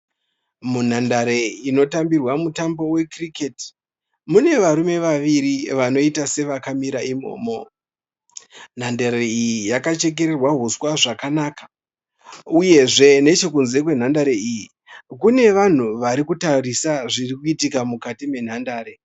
Munhandare inotambirwa mutambo wecricket. Mune varume vaviri vanoita sevakamira imomo. Nhandare iyi yakachekererwa huswa zvakanaka uyezve nechekunze kwenhandare iyi kune vanhu varikutarisa zvirikuitika mukati menhandare.